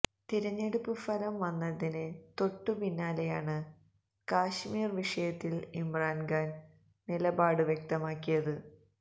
തിരഞ്ഞെടുപ്പ് ഫലം വന്നതിന് തൊട്ട പിന്നാലെയാണ് കശ്മീര് വിഷയത്തില് ഇമ്രാന് ഖാന് നിലപാട് വ്യക്തമാക്കിയത്